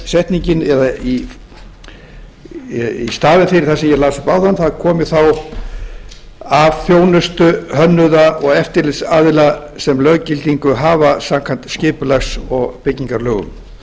setningin í staðinn fyrir það sem ég las upp áðan komi þá af þjónustu hönnuða og eftirlitsaðila sem löggildingu hafa samkvæmt skipulags og byggingarlögum